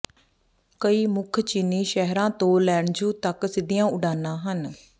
ਕਈ ਮੁੱਖ ਚੀਨੀ ਸ਼ਹਿਰਾਂ ਤੋਂ ਲੈਨ੍ਝੂ ਤੱਕ ਸਿੱਧੀਆਂ ਉਡਾਣਾਂ ਹਨ